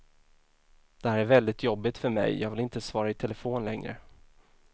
Det här är väldigt jobbigt för mig, jag vill inte svara i telefon längre.